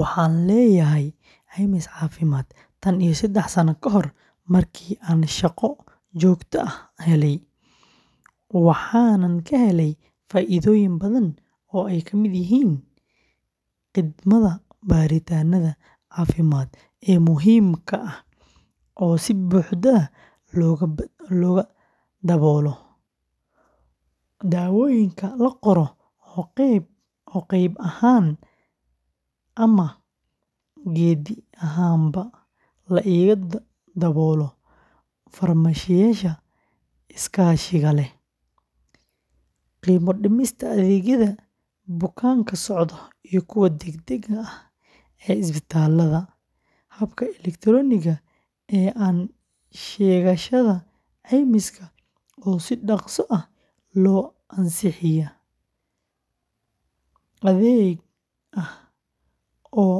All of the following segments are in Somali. Waxaan leeyahay caymis caafimaad tan iyo saddex sano ka hor markii aan shaqo joogto ah helay, waxaanan ka helay faa’iidooyin badan oo ay ka mid yihiin khidmadda baaritaannada caafimaad ee muhiimka ah oo si buuxda looga daboolo, daawooyinka la qoro oo qayb ahaan ama gebi ahaanba la iga daboolo farmashiyeyaasha iskaashiga leh, qiimo dhimista adeegyada bukaan-socodka iyo kuwa deg-degga ah ee isbitaallada, habka elektarooniga ah ee sheegashada caymiska oo si dhaqso ah loo ansixiyaa, adeeg ah oo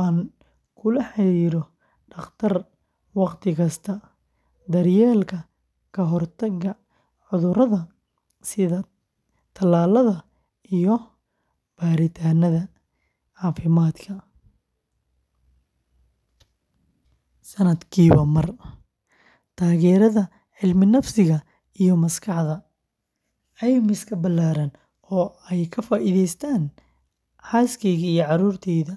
aan kula xiriiro dhakhtar waqti kasta, daryeelka ka hortagga cudurada sida tallaalada iyo baaritaannada caafimaadka sanadkiiba mar, taageerada cilminafsiga iyo maskaxda, caymis ballaaran oo ay ka faa’iidaystaan xaaskeyga iyo carruurteyda.